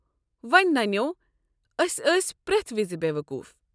ونۍ ننیٛوو أسۍ ٲسۍ پرٮ۪تھ وز بیوقوٗف۔